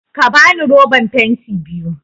Ka bani roban fenti biyu!